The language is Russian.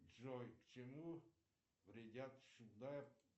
джой к чему вредят